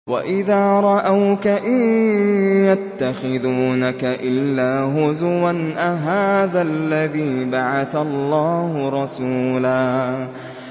وَإِذَا رَأَوْكَ إِن يَتَّخِذُونَكَ إِلَّا هُزُوًا أَهَٰذَا الَّذِي بَعَثَ اللَّهُ رَسُولًا